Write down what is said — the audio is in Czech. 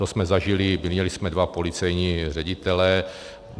To jsme zažili, měli jsme dva policejní ředitele.